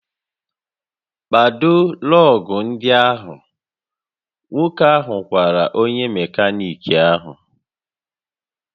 "Kpado lọọgụ̀ ndị ahụ! "Nwoke ahụ gwara onye mekaniki ahụ"